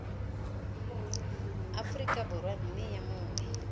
aforika borwa mme yo mongwe